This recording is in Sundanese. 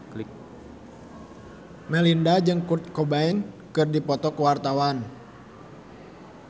Melinda jeung Kurt Cobain keur dipoto ku wartawan